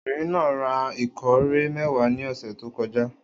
Obìnrin náà ra ìkórè mẹ́wàá ní ọ̀sẹ̀ tó kọjá.